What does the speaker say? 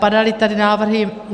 Padaly tady návrhy.